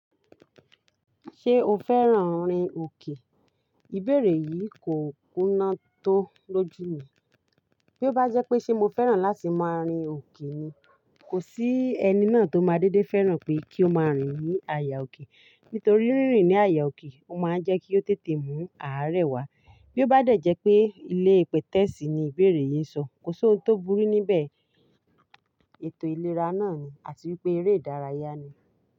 Ṣé o fẹ́ràn rin òkè? Ìbéèrè yìí kò kúnná tó lójú mi. Bí ó bá jẹ́ pé ṣe mo fẹ́ràn láti máa rin òkè ni, kò sí ẹni náà tó máa dédé fẹ́ràn pé kí ó máa rìn ní àyà òkè. Nítorí rírin ní àyà òkè ó máa ń jẹ́ kí ó tètè mú àárẹ̀ wá. Bí ó bá dẹ̀ jẹ́ pé ilé ìpètẹ̀sì ni ìbéèrè yìí ń sọ, kò sí ohun tó burú níbẹ̀, ètò ìlera náà ni àti wípé eré ìdárayá ni.